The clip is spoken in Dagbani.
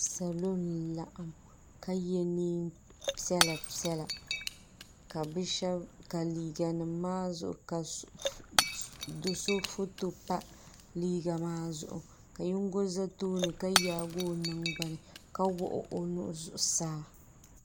Salo n laɣim ka ye niɛnpiɛlla piɛla ka liiga nima maa zuɣu do'so foto pa liiga maa zuɣu ka yingo za tooni ka yaagi o nangbani ka wuɣi o nuhi zuɣusaa.